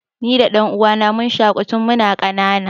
Ni da ɗan'uwana mun shaƙu tun mun ƙanana.